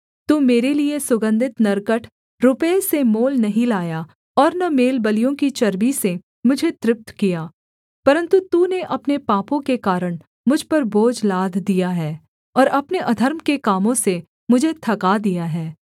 तू मेरे लिये सुगन्धित नरकट रुपये से मोल नहीं लाया और न मेलबलियों की चर्बी से मुझे तृप्त किया परन्तु तूने अपने पापों के कारण मुझ पर बोझ लाद दिया है और अपने अधर्म के कामों से मुझे थका दिया है